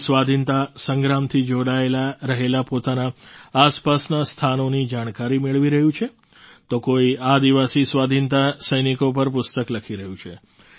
કોઈ સ્વાધીનતા સંગ્રામથી જોડાયેલા રહેલાં પોતાનાં આસપાસનાં સ્થાનોની જાણકારી મેળવી રહ્યું છે તો કોઈ આદિવાસી સ્વાધીનતા સૈનિકો પર પુસ્તક લખી રહ્યું છે